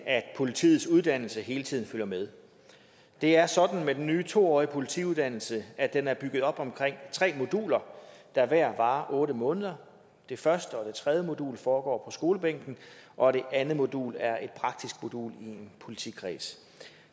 at politiets uddannelse hele tiden følger med det er sådan med den nye to årige politiuddannelse at den er bygget op omkring tre moduler der hver varer otte måneder det første og det tredje modul foregår skolebænken og det andet modul er et praktisk modul i en politikreds